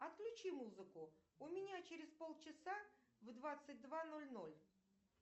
отключи музыку у меня через полчаса в двадцать два ноль ноль